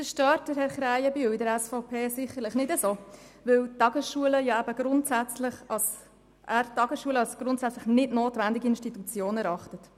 Das stört Herrn Krähenbühl von der SVP sicherlich nicht besonders, weil er die Tagesschule als grundsätzlich nicht notwendige Institution erachtet.